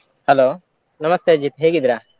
Hello ನಮಸ್ತೆ ಅಜಿತ್ ಹೇಗಿದ್ರಾ?